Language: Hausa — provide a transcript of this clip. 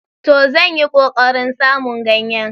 To! Zan yi ƙoƙarin samun ganyen.